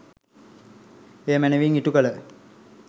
එය මැනවින් ඉටුකළ